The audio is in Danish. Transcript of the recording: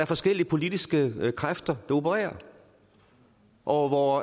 forskellige politiske kræfter der opererer og hvor